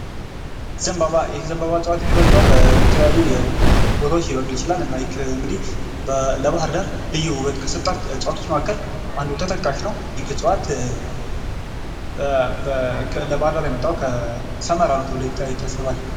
ዘንባባ ይህ ዘንባባ እፅዋት የሚበቅለው የተለያዩ ቦታዎች ሊበቅ ይችላል ።እና እንግዲህ ለባህር ዳር ልዩ ውበት ከሰጣት እፅዋቶች መካከል አንዱ ተጠቃሽ ነው። የእጽዋት ለባህር ዳር የመጣው ከሰመራ ነው ተብሎ ይታሰባል።